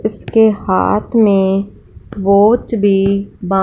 इसके हाथ में वॉच भी बा--